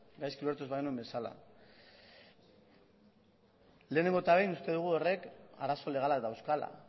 gaizki ulertu ez bagenuen bezala lehenengo eta behin uste dugu horrek arazo legalak dauzkala